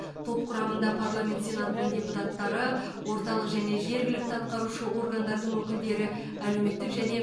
топ құрамында парламент сенатының депутаттары орталық және жергілікті атқарушы органдардың өкілдері әлеуметтік және